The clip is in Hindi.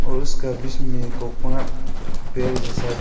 और उसका बीच में एक कोना पेड़ जैसा--